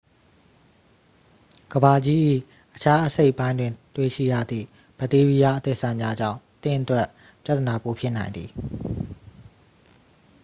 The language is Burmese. ကမ္ဘာကြီး၏ အခြားအစိတ်ပိုင်းတွင် တွေ့ရှိရသည့် ဘက်တီးရီးယား အသစ်အဆန်းများကြောင့် သင့်အတွက်ပြသနာပိုဖြစ်နိုင်သည်